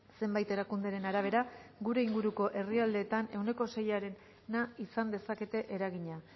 zenbait erakunderen arabera gure inguruko herrialdeetan ehuneko seiarena izan dezakete eragina